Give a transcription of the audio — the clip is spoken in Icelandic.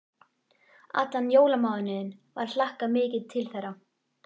Allan jólamánuðinn var hlakkað mikið til þeirra.